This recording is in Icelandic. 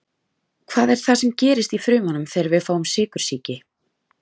Hvað er það sem gerist í frumunum þegar við fáum sykursýki?